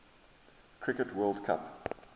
cricket world cup